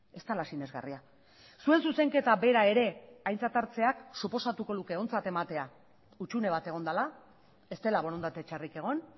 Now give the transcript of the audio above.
ez dela sinesgarria zuen zuzenketa bera ere aintzat hartzeak suposatuko luke ontzat ematea hutsune bat egon dela ez dela borondate txarrik egon